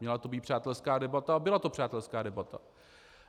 Měla to být přátelská debata a byla to přátelská debata.